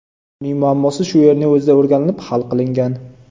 Uning muammosi shu yerning o‘zida o‘rganilib, hal qilingan.